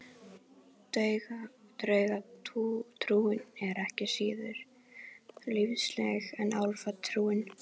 Draugatrúin er ekki síður lífseig en álfatrúin.